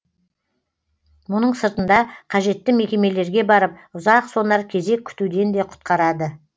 мұның сыртында қажетті мекемелерге барып ұзақ сонар кезек күтуден де құтқарады